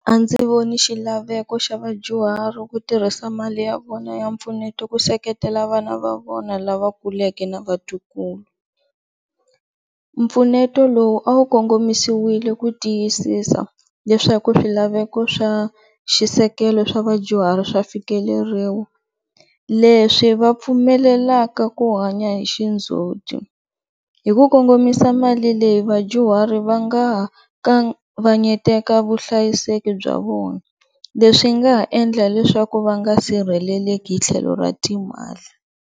A ndzi voni xilaveko xa vadyuhari ku tirhisa mali ya vona ya mpfuneto ku seketela vana va vona lava kuleke na vatukulu. Mpfuneto lowu a wu kongomisiwile ku tiyisisa leswaku swilaveko swa xisekelo swa vadyuhari swa fikeleriwa, leswi vapfumelelaka ku hanya hi xindzuti hi ku kongomisa mali leyi vadyuhari va nga kavanyeteka vuhlayiseki bya vona leswi nga ha endla leswaku va nga sirheleleki hi tlhelo ra timali.